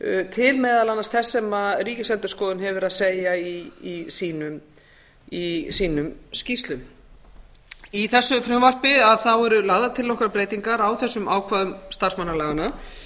til meðal annars þess sem ríkisendurskoðun hefur verið að segja í sínum skýrslum í þessu frumvarpi eru lagðar til nokkrar breytingar á þessum ákvæðum starfsmannalaganna